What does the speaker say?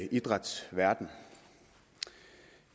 idrætsverdenen